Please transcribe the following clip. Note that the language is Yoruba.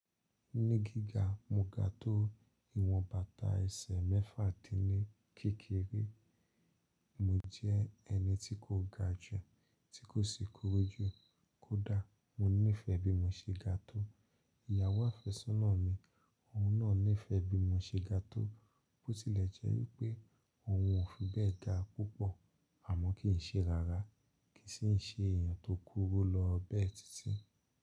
Ní gíga, mo ga tó ìwọn bàtà ẹsẹ̀ mẹ́fà din ní kékeré. Mo jẹ́ ẹni tí kò ga jù, tí kò sì kúrú jù. Kódà mo nífẹ̀ẹ́ bí mo ṣe ga tó, ìyàwó àfẹ́sọ́nà mi òun náà nífẹ̀ẹ́ bí mo ṣe ga tó, bó tilẹ̀ jẹ́ pé òun ò fi bẹ́ẹ̀ ga púpọ̀, àmọ́ kìí ṣe rárá, kìí sì ṣe èèyàn tó kúrú lọ bẹ́ẹ̀ títí.